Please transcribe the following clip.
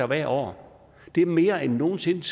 hvert år det er mere end nogen sinde